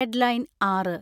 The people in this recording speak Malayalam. ഹെഡ്ലൈൻ ആറ്